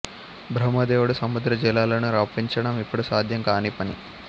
బ్రహ్మదేవుడు సముద్ర జలాలను రప్పించడం ఇప్పుడు సాధ్యం కాని పని